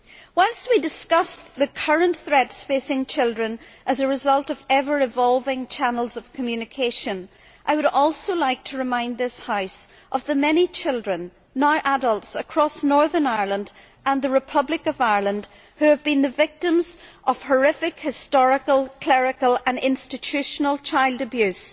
Whilst we discuss the current threats facing children as a result of ever evolving channels of communication, I would also like to remind this House of the many children, now adults, across Northern Ireland and the Republic of Ireland, who have been the victims of horrific historical, clerical and institutional child abuse